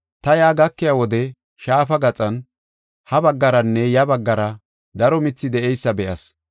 Ta yaa gakiya wode shaafa gaxan ha baggaranne ya baggara daro mithi de7eysa be7as.